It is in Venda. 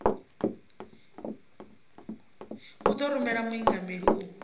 u ḓo rumela muingameli u